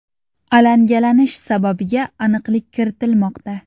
Alangalanish sababiga aniqlik kiritilmoqda.